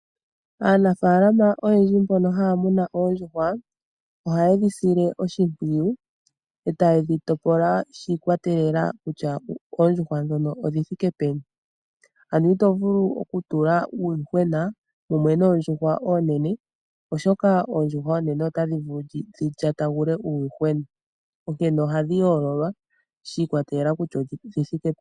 Aanafaalama oyendji mbono haya muno oondjuhwa ohaye dhi sile oshimpwiyu e taye dhi topola shi ikwatelela kutya oondjuhwa ndhono odhi thike peni. Ano ito vulu okutula uuyuhwena kumwe noondjuhwa oonene, oshoka oondjuhwa oonene otadhi vulu dhi lyatagule uuyuhwena onkene ohadhi yoololwa shi ikwatelela kutya odhi thike peni.